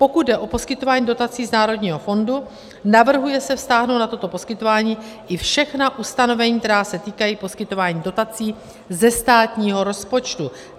Pokud jde o poskytování dotací z Národního fondu, navrhuje se vztáhnout na toto poskytování i všechna ustanovení, která se týkají poskytování dotací ze státního rozpočtu.